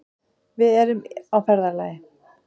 Við erum á ferðalagi.